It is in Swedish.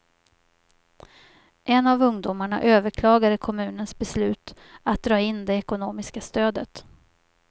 En av ungdomarna överklagade kommunens beslut att dra in det ekonomiska stödet.